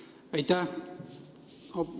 Aitäh!